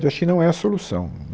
Eu acho que não é a solução.